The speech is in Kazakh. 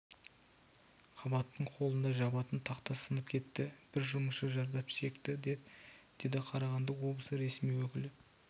қабаттың холлында жабатын тақта сынып кетті бір жұмысшы зардап шекті деді қарағанды облысы ресми өкілі